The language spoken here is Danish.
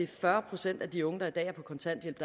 fyrre procent af de unge der i dag er på kontanthjælp